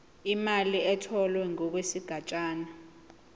imali etholwe ngokwesigatshana